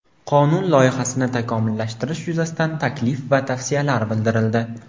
Qonun loyihasini takomillashtirish yuzasidan taklif va tavsiyalar bildirildi.